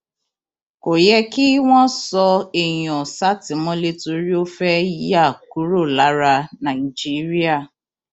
kò yẹ kí wọn sọ èèyàn sátìmọlé torí ó fẹẹ yà kúrò lára nàìjíríà